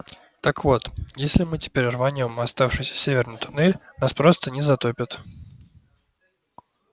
так вот если мы теперь рванём в оставшийся северный туннель нас просто не затопит